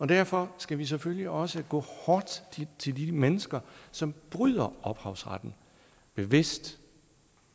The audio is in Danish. derfor skal vi selvfølgelig også gå hårdt til de mennesker som bryder ophavsretten bevidst